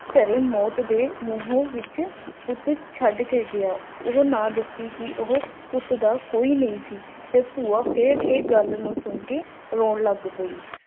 ਕਰੇ ਮੌਤ ਦੇ ਮੂੰਹ ਵਿੱਚ ਫੁੱਟ ਪੁੱਟ ਛੱਡ ਕੇ ਗਿਆ ਹੈ ਉਹਨਾਂ ਦੱਸਿਆ ਕਿ ਉਹ ਪੁੱਤ ਦਾ ਕੋਈ ਨਹੀ ਸੀ ਏਥੋਂ ਫੇਰ ਇਹ ਗੱਲ ਨੂੰ ਸੁਣ ਕੇ ਰੋਣ ਲੱਗ ਪਈ